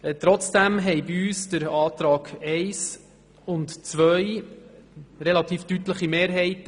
Trotzdem fanden bei uns die Auflagen 1 und 2 relativ deutliche Mehrheiten.